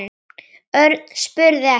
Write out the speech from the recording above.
Örn spurði eftir